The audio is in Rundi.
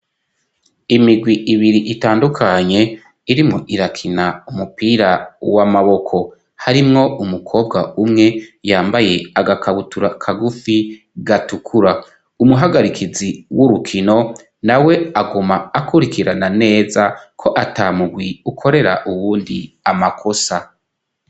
Imigwi ibiri itandukanye irimwo irakina umupira w'amaboko harimwo umukobwa umwe yambaye agakabutura kagufi gatukura umuhagarikizi w'urukino na we aguma akurikirana neza ko atamugwi ukorera uwundi amakosa.